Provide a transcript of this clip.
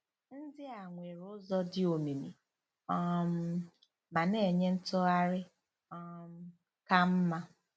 Ndị a nwere ụzọ dị omimi um ma na-enye ntụgharị um ka mma.